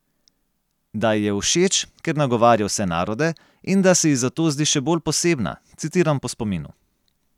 Da ji je všeč, ker nagovarja vse narode, in da se ji zato zdi še bolj posebna, citiram po spominu.